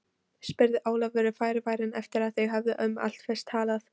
spurði Ólafur varfærinn eftir að þeir höfðu um allflest talað.